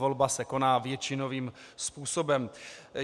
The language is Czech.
Volba se koná většinovým způsobem.